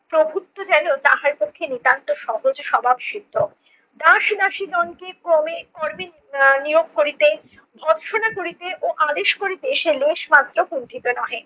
প্রভুত্ত যেন তাহার পক্ষে নিতান্ত সহজ স্বভাব সিদ্ধ। আহ নিয়োগ করিতে, ভৎসনা করিতে ও আদেশ করিতে সে লেশ মাত্র কুন্ঠিত নহে।